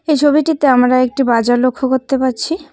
এই ছবিটিতে আমরা একটি বাজার লক্ষ্য করতে পারছি।